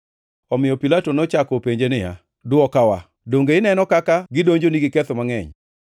Omiyo Pilato nochako openje niya, “Dwokawa, donge ineno kaka gidonjoni gi ketho mangʼeny?”